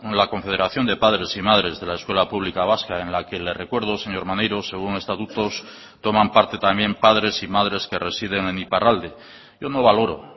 la confederación de padres y madres de la escuela pública vasca en la que le recuerdo señor maneiro según estatutos toman parte también padres y madres que residen en iparralde yo no valoro